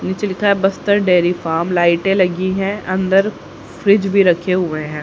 नीचे लिखा है बस्तर डेरी फार्म लाइटें लगी हैं अंदर फ्रिज भी रखे हुए हैं।